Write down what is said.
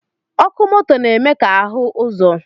Ọkụ moto na-eme ka ahụ ụzọ